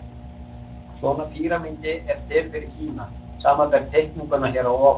Svona píramídi er til fyrir Kína, samanber teikninguna hér að ofan.